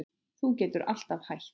Þú getur alltaf hætt